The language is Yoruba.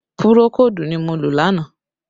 Pùròkódù ni mo lò lánàá